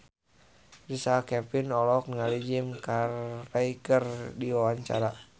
Richard Kevin olohok ningali Jim Carey keur diwawancara